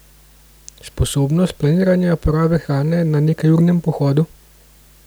Sposobnost planiranja porabe hrane na nekajurnem pohodu?